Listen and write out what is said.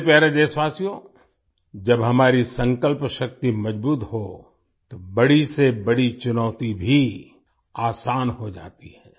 मेरे प्यारे देशवासियो जब हमारी संकल्प शक्ति मजबूत हो तो बड़ी से बड़ी चुनौती भी आसान हो जाती है